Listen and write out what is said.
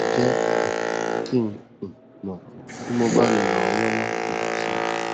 jẹ um kí n um mọ tí mo bá lè ràn ọ lọwọ um si